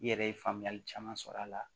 I yɛrɛ ye faamuyali caman sɔrɔ a la